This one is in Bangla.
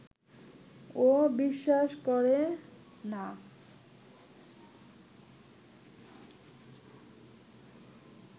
ও বিশ্বাস করে না